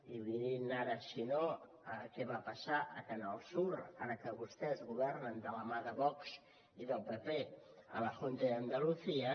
i mirin ara si no què va passar a canal sur ara que vostès governen de la mà de vox i del pp a la junta de andalucía